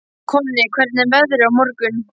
Konni, hvernig er veðrið á morgun?